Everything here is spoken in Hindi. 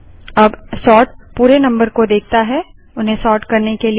अब सोर्ट पूरे नम्बर को देखता है उन्हें सोर्ट करने के लिए